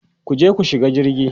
kuje ku shiga jirgi!